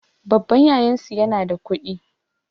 Babban yayansu yana da kuɗi